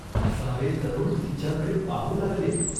सारे तरुण तिच्याकडे पाहू लागले.